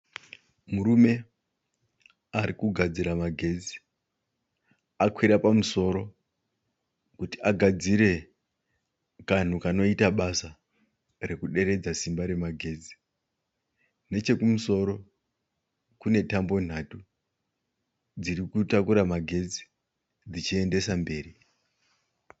Murume ari kugadzira magetsi. Akwira pamusoro kuti agadzire kanhu kanoita basa rekuderedza simba remagetsi. Nechekumusoro kune tambo nhatu dziri kutakura magetsi dzichiendesa mberi.